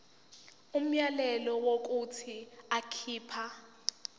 umyalelo wokuthi akhipha